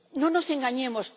No nos engañemos.